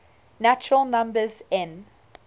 natural numbers n